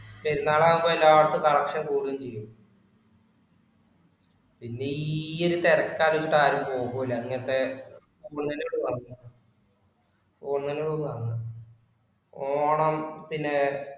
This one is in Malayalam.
പെരുന്നാളാകുമ്പോ എല്ലാടത്തും collection കൂടുകയും ചെയ്യും. പിന്നെ ഈ ഒരുതിരക്കായതു തൊട്ടു ആരും പോകൂല്ല ഇങ്ങനത്തെ, നമ്മളെങ്ങും പോവാറില്ല ഒന്നിന് ഓണത്തിന്